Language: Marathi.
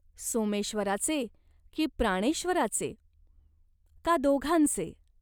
सोमेश्वराचे की प्राणेश्वराचे ? का दोघांचे ?